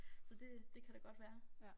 Så det det kan da godt være